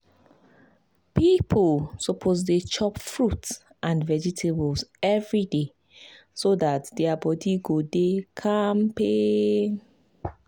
people suppose dey chop fruit and vegetables every day so dat their body go dey kampe.